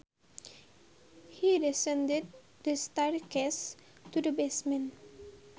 He descended the staircase to the basement